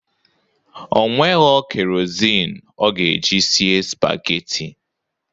O nwegho kerozịn ọ ga-eji sie spageti